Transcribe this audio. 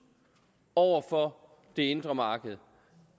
over for det indre marked